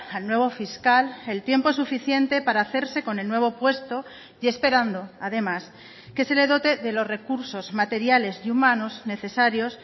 al nuevo fiscal el tiempo suficiente para hacerse con el nuevo puesto y esperando además que se le dote de los recursos materiales y humanos necesarios